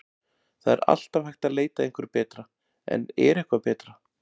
Það er alltaf hægt að leita að einhverju betra en er eitthvað betra?